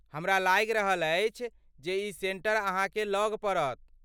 हमरा लागि रहल अछि जे ई सेंटर अहाँके लग पड़त।